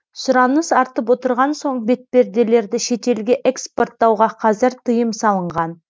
сұраныс артып отырған соң бетперделерді шетелге экспорттауға қазір тыйым салынған